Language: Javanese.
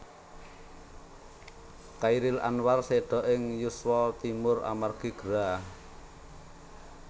Chairil Anwar séda ing yuswa timur amargi gerah